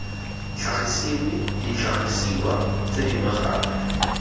tlhagisiwe ditlhagiswa tse dingwe gape